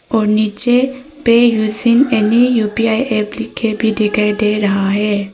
और नीचे पे यूजिंग एनी यू_पी_आई ऐप लिखे भी दिखाई दे रहा है।